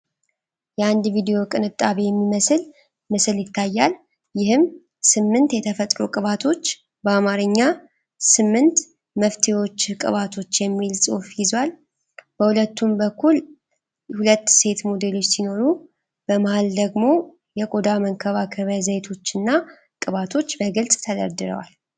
የአንድ ቪዲዮ ቅንጣቢ የሚመስል ምስል ይታያል፤ ይህም ስምንት የተፈጥሮ ቅባቶች በአማርኛ "8 መፍተዎችህ ቅባቶች!" የሚል ጽሑፍ ይዟል። በሁለቱም በኩል ሁለት ሴት ሞዴሎች ሲኖሩ፤ በመሃል ደግሞ የቆዳ መንከባከቢያ ዘይቶችና ቅባቶች በግልጽ ተደርድረዋል።